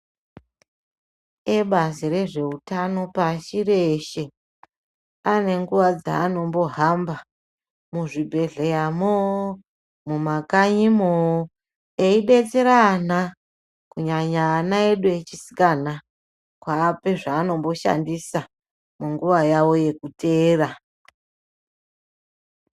Ebazi rezvehutano pasi reshe anenguva dzaanombohamba muzvibhedhleyamoo mumakanyimo eidetsera ana kunyanya ana edu echisikana kuapa zvanomboshandisa munguva yawo yekuteera.